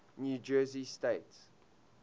new jersey state